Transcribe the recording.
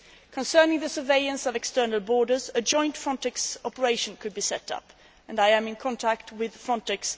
Concerning the surveillance of external borders, a joint Frontex operation could be set up and I am in contact with Frontex.